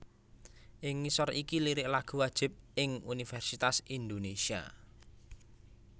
Ing ngisor iki lirik lagu wajib ing Universitas Indonésia